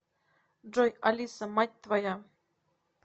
джой алиса мать твоя